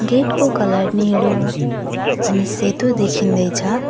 Get को colour नीलो अनि सेतो देखिँदैछ।